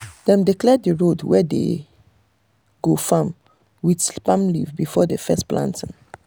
dem dey clear the road wey dey go farm with palm leaf before the first planting.